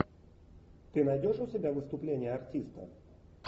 ты найдешь у себя выступление артиста